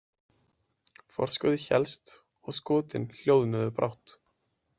Forskotið hélst og skotin hljóðnuðu brátt.